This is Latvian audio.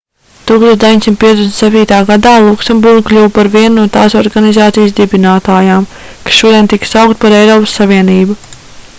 1957. gadā luksemburga kļuva par vienu no tās organizācijas dibinātājām kas šodien tiek saukta par eiropas savienību